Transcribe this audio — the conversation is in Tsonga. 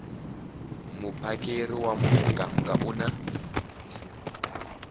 muphakeri wa muganga u na